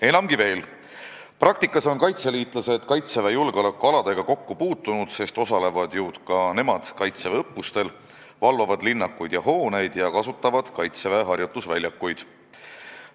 Enamgi veel, praktikas on kaitseliitlased Kaitseväe julgeolekualadega kokku puutunud, sest ka nemad osalevad ju Kaitseväe õppustel, valvavad linnakuid ja hooneid ning kasutavad Kaitseväe harjutusväljakuid.